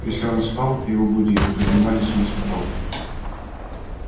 если он спал его будили поднимали с места палкой